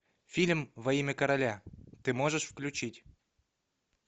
фильм во имя короля ты можешь включить